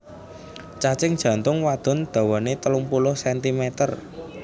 Cacing jantung wadon dawané telung puluh sentimeter